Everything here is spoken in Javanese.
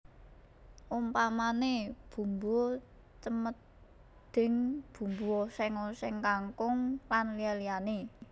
Umpamané bumbu cemedhing bumbu oséng oséng kangkung lan liya liyané